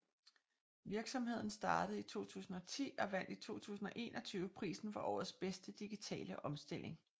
Virksomheden startede i 2010 og vandt i 2021 prisen for Årets bedste digitale omstilling